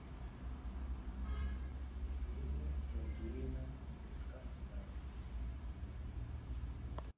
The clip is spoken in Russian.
ксения сергеевна гришковская